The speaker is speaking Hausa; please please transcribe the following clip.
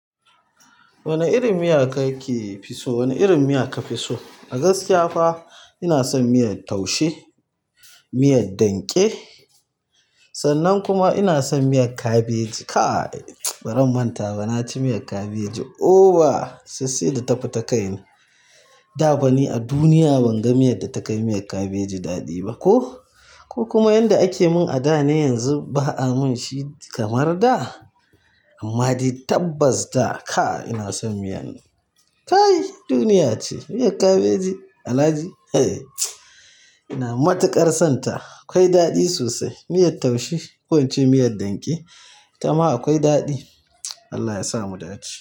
Wane irin miya kake fi so? Wane irin miya ka fi so? A gaskiya fa ina son miyar taushe, miyar danƙe sannan kuma ina son miyar kabeji. Kaai! Bazan manta ba na ci miyar kabeji. Oo ba! Har sai da ta fita kai na. Da fa ni a duniya ban ga miyar da ta kai miyar kabeji daɗi ba. Ko, ko kuma yanda ake mun a da ne yanzu ba a mun shi kamar da? Amma dai tabbas da kaai ina son miyan, kai duniya ce. Miyar kabeji Alhaji, hee! Ina matuƙar son ta. Akwai daɗi sosai. Miyar taushe ko ince miyar danƙe ita ma akwai daɗi. Allah ya sa mu daɗi.